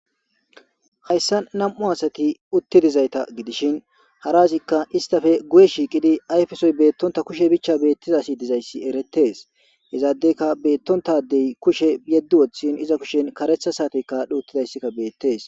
hayssan nam7u asati uttidizayta gidishin haraazikka istafe guye shiikidi ayfesoy beettonta kushe bichcha beettizasi dizayssi eretees izaadeyka beettontadey kushe yeddi woththin iza kushen karetha saatekka adhuuttidayssikka beettees